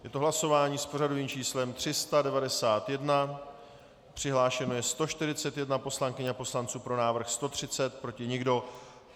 Je to hlasování s pořadovým číslem 391, přihlášeno je 141 poslankyň a poslanců, pro návrh 130, proti nikdo.